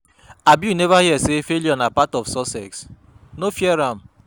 Abi you neva hear sey failure na part of success? no fear am.